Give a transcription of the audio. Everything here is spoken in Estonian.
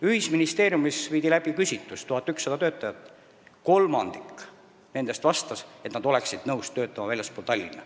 Ühisministeeriumis viidi läbi küsitlus: 1100 töötajast kolmandik vastas, et nad oleksid hea meelega nõus töötama väljaspool Tallinna.